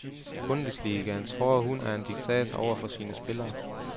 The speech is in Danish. Bundesligaens hårde hund er en diktator over for sine spillere.